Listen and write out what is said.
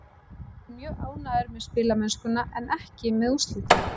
Ég er mjög ánægður með spilamennskuna en ekki með úrslitin.